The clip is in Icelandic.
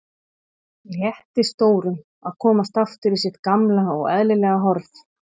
Létti stórum að komast aftur í sitt gamla og eðlilega horf.